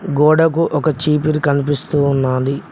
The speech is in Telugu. గోడకు ఒక చీపిరి కనిపిస్తూ ఉన్నాది.